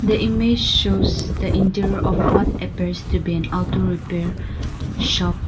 the image shows the interior of what appears to been an auto repair shop.